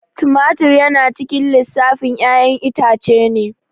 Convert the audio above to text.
Tomatur yana cikin lissafin ƴayan itace ne